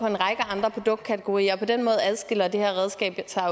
en række andre produktkategorier og på den måde adskiller det her redskab sig